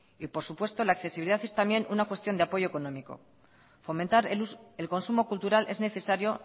y por supuesto la accesibilidad es también una cuestión de apoyo económico fomentar el consumo cultural es necesario